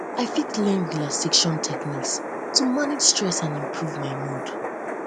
i fit learn relaxation techniques to manage stress and improve my mood